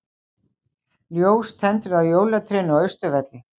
Ljós tendruð á jólatrénu á Austurvelli